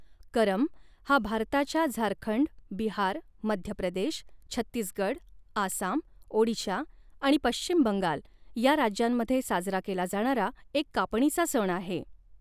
करम हा भारताच्या झारखंड, बिहार, मध्य प्रदेश, छत्तीसगड, आसाम, ओडिशा आणि पश्चिम बंगाल या राज्यांमध्ये साजरा केला जाणारा एक कापणीचा सण आहे.